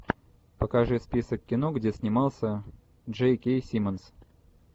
покажи список кино где снимался джей кей симмонс